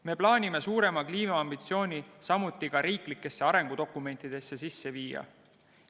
Me plaanime suurema kliimaambitsiooni ka riiklikesse arengudokumentidesse sisse viia.